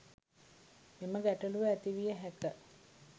මෙම ගැටළුව ඇතිවිය හැක